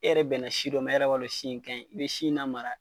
E yɛrɛ bɛn na si dɔ ma, e yɛrɛ b'a dɔn si in kaɲi. I be si in la mara